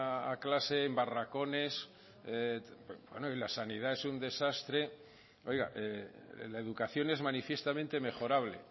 a clase en barracones bueno y la sanidad es un desastre la educación es manifiestamente mejorable